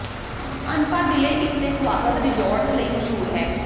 ਅਨਪਾ ਜ਼ਿਲ੍ਹੇ ਇਸ ਦੇ ਸਵਾਗਤ ਰਿਜ਼ੋਰਟਜ਼ ਲਈ ਮਸ਼ਹੂਰ ਹੈ